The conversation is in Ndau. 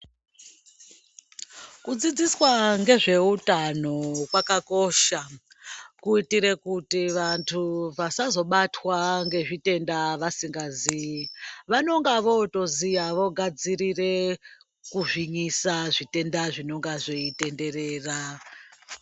Kudzidziswa ngezveutano kwakakosha kuitire kuti vantu vasazobatwa ngezvitenda vasingaziyi vanonga votooziya vogadzirire kuzvimisa zvitenda zvinenge zveitenderera.